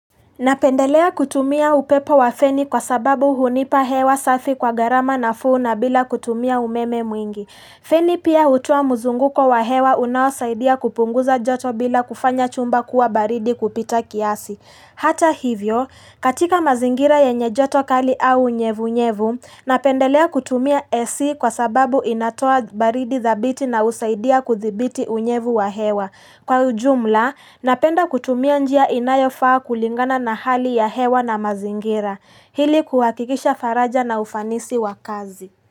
Napendelea kutumia upepo wa feni kwa sababu hunipa hewa safi kwa gharama nafuu na bila kutumia umeme mwingi. Feni pia hutoa mzunguko wa hewa unaosaidia kupunguza joto bila kufanya chumba kuwa baridi kupita kiasi. Hata hivyo, katika mazingira ya yenye joto kali au unyevu unyevu, napendelea kutumia AC kwa sababu inatoa baridi dhabiti na usaidia kuthibiti unyevu wa hewa. Kwa ujumla, napenda kutumia njia inayo faa kulingana na hali ya hewa na mazingira, hili kuhakikisha faraja na ufanisi wa kazi.